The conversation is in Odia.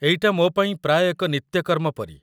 ଏଇଟା ମୋ ପାଇଁ ପ୍ରାୟ ଏକ ନିତ୍ୟକର୍ମ ପରି।